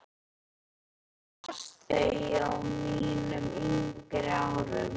Ég las þau á mínum yngri árum.